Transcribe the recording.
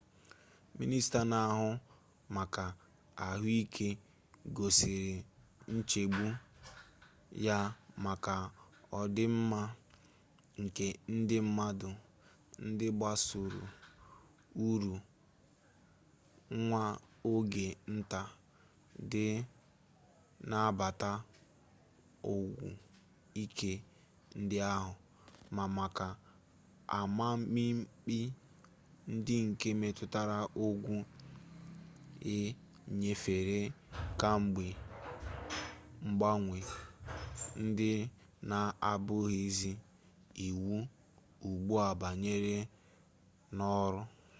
mịnịsta na-ahụ maka ahụike gosiri nchegbu ya maka ọdịmma nke ndị mmadụ ndị gbasoro uru nwa oge nta dị na nnabata ọgwụ ike ndị ahụ ma maka amamikpe ndị nke metụtara ọgwụ e nyefere kamgbe mgbanwe ndị na-abụghịzi iwu ugbu a banyere n'ọrụ